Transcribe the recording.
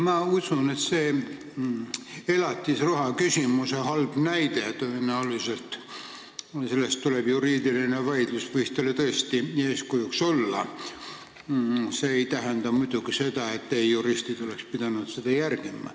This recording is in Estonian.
Ma usun, et elatisraha küsimus, see halb näide – selle üle tuleb tõenäoliselt juriidiline vaidlus – võis teile tõesti eeskujuks olla, mis ei tähenda muidugi seda, et teie juristid oleks pidanud seda järgima.